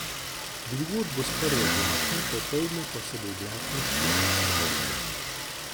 Drugod do sprva oblačno, popoldne pa se bo oblačnost počasi trgala.